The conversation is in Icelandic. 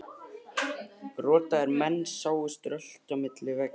Rotaðir menn sáust rölta á milli veggja.